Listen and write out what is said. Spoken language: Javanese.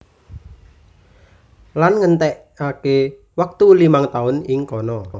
Lan ngentèkaké wektu limang taun ing kana